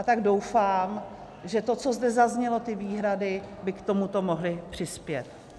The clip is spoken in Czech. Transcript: A tak doufám, že to, co zde zaznělo, ty výhrady, by k tomuto mohly přispět.